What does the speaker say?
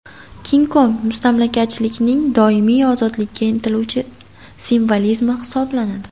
King Kong – mustamlakachilikning doimiy ozodlikka intiluvchi simvolizmi hisoblanadi.